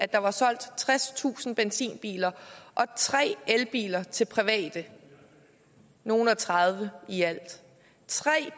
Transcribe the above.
der var solgt tredstusind benzinbiler og tre elbiler til private nogle og tredive i alt tre